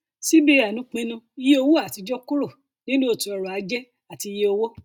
cbn pinnu yí owó àtijọ kúrò nínú eto ọrọ ajé àti iye owó